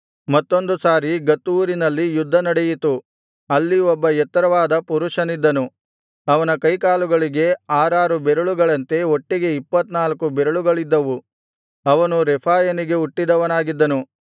ಮತ್ತೊಂದು ಸಾರಿ ಗತ್ ಊರಿನಲ್ಲಿ ಯುದ್ಧ ನಡೆಯಿತು ಅಲ್ಲಿ ಒಬ್ಬ ಎತ್ತರವಾದ ಪುರುಷನಿದ್ದನು ಅವನ ಕೈಕಾಲುಗಳಿಗೆ ಆರಾರು ಬೆರಳುಗಳಂತೆ ಒಟ್ಟಿಗೆ ಇಪ್ಪತ್ತನಾಲ್ಕು ಬೆರಳುಗಳಿದ್ದವು ಅವನು ರೆಫಾಯನಿಗೆ ಹುಟ್ಟಿದವನಾಗಿದ್ದನು